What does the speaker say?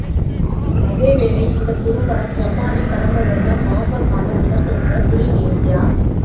அதேவேளை இந்தக் குறும்படம் ஜப்பானில் கடந்த வருடம் நவம்பர் மாதம் இடம்பெற்ற ப்லிம்ஏசியா